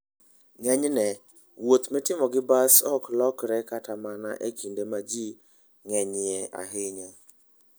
Ng'enyne, wuoth mitimo gi bas ok lokre kata mana e kinde ma ji ng'enyie ahinya.